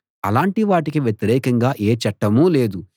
అలాంటి వాటికి వ్యతిరేకంగా ఏ చట్టమూ లేదు